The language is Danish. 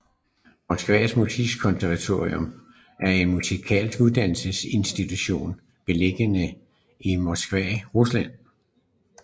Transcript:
Moskva musikkonservatorium er en musikalsk uddannelsesinstitution beliggende i Moskva i Rusland